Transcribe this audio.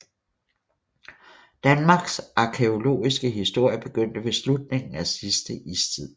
Danmarks arkæologiske historie begyndte ved slutningen af sidste istid